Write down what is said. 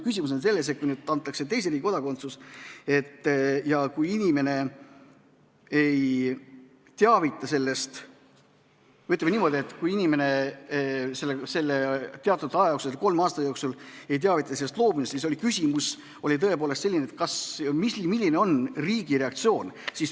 Küsimus oli nüüd selles, et kui inimesele antakse teise riigi kodakondsus ja kui ta teatud aja jooksul, kolme aasta jooksul, ei teavita sellest loobumisest, siis milline on riigi reaktsioon.